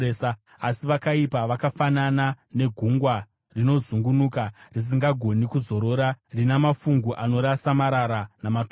Asi vakaipa vakafanana negungwa rinozungunuka, risingagoni kuzorora, rina mafungu anorasa marara namatope.